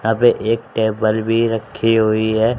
अब एक टेबल भी रखी हुई है।